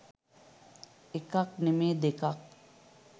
එකක් නෙමේ දෙකක්